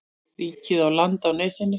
Ríkið á land á nesinu.